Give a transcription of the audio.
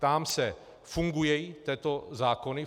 Ptám se - fungují tyto zákony?